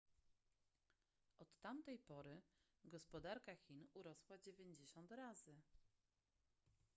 od tamtej pory gospodarka chin urosła 90 razy